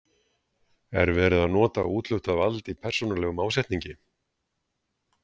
Er verið að nota úthlutað vald í persónulegum ásetningi?